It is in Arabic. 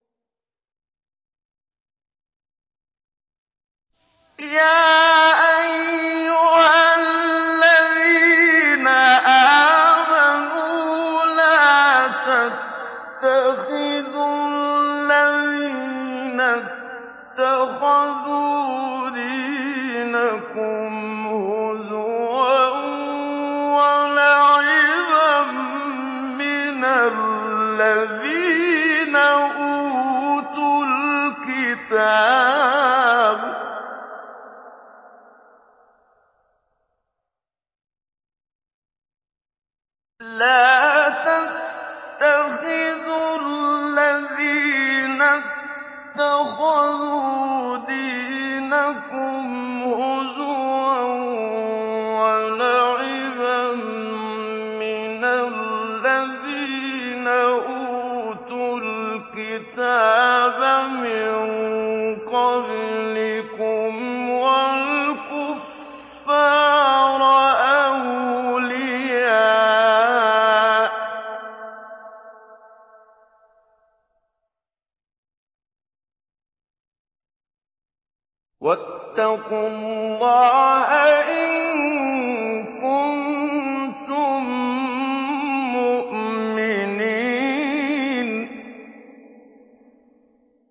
يَا أَيُّهَا الَّذِينَ آمَنُوا لَا تَتَّخِذُوا الَّذِينَ اتَّخَذُوا دِينَكُمْ هُزُوًا وَلَعِبًا مِّنَ الَّذِينَ أُوتُوا الْكِتَابَ مِن قَبْلِكُمْ وَالْكُفَّارَ أَوْلِيَاءَ ۚ وَاتَّقُوا اللَّهَ إِن كُنتُم مُّؤْمِنِينَ